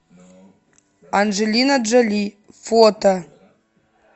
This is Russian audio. анджелина джоли фото